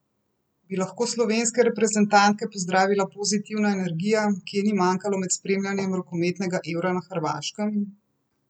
Bi lahko slovenske reprezentante pozdravila pozitivna energija, ki je ni manjkalo med spremljanjem rokometnega Eura na Hrvaškem?